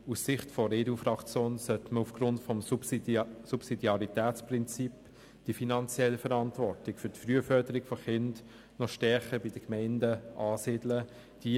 Aus Sicht der EDU-Fraktion sollte aufgrund des Subsidiaritätsprinzips die finanzielle Verantwortung für die Frühförderung von Kindern noch stärker bei den Gemeinden angesiedelt werden.